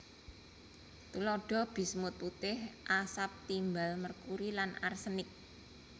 Tuladha bismut putih asap timbal merkuri lan arsenik